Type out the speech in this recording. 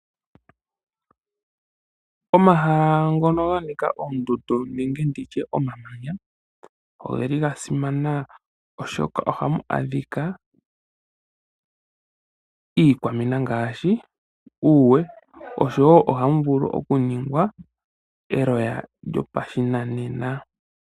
Omahala ngono ga nika oondundu nenge omamanya oge li ga simana molwaashoka ohamu adhika iikwamina ngaashi okawe oshowo ohamu vulu okuningwa eloya lyopashinanena.